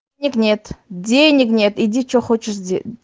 нек нет денег нет иди чего хочешь сде